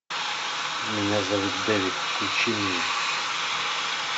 меня зовут дэвид включи мне